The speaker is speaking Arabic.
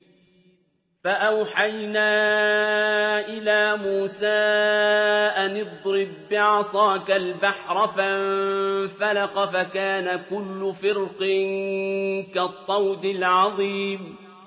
فَأَوْحَيْنَا إِلَىٰ مُوسَىٰ أَنِ اضْرِب بِّعَصَاكَ الْبَحْرَ ۖ فَانفَلَقَ فَكَانَ كُلُّ فِرْقٍ كَالطَّوْدِ الْعَظِيمِ